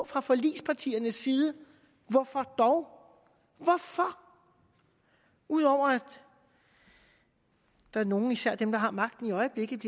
fra forligspartiernes side hvorfor dog hvorfor ud over at der er nogle især dem der har magten i øjeblikket